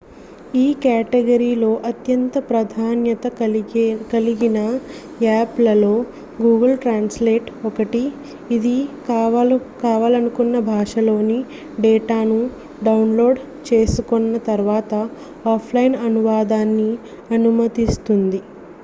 ఈ కేటగిరీలో అత్యంత ప్రాధాన్యత కలిగిన యాప్లలో google translate ఒకటి ఇది కావాలనుకున్న భాషలోని డేటాను డౌన్లోడ్ చేసుకొన్న తర్వాత ఆఫ్లైన్ అనువాదాన్ని అనుమతిస్తుంది